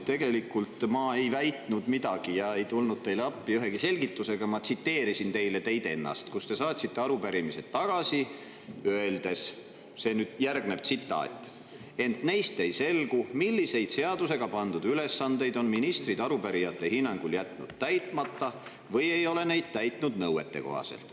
Tegelikult ei väitnud ma midagi ja ma ei tulnud teile appi ühegi selgitusega, ma tsiteerisin teile teid ennast, kui te saatsite arupärimised tagasi, öeldes: "… ent neist ei selgu, millised seadusega pandud ülesanded on ministrid arupärijate hinnangul täitmata jätnud või ei ole neid täitnud nõuetekohaselt.